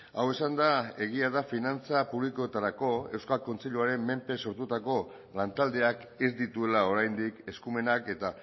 hau esanda egia da finantza publikoetarako euskal kontseiluaren menpe sortutako lantaldeak ez dituela oraindik eskumenak eta